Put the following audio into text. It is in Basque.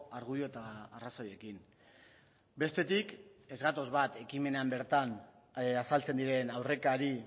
argudio eta arrazoiekin bestetik ez gatoz bat ekimenean bertan azaltzen diren aurrekari